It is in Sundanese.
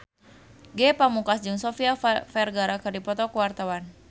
Ge Pamungkas jeung Sofia Vergara keur dipoto ku wartawan